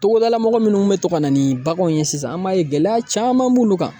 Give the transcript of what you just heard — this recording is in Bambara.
Togodala mɔgɔ minnu mɛ to ka na ni baganw ye sisan an b'a ye gɛlɛya caman b'ulu kan.